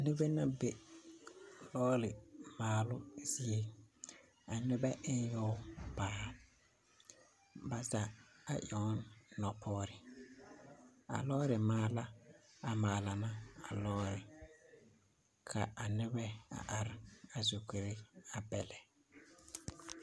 Nebɛ na bɛ lɔɔre maalo zie. A nebɛ ene yoɔ paaa. Baza a eŋ ne nopɔre. A lɔɔre maala a maala na a lɔɔre. Ka a nebɛ a are a zukure a bɛlɛ